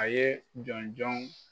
A ye jɔnjɔn